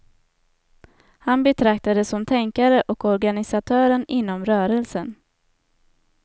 Han betraktades som tänkare och organisatören inom rörelsen.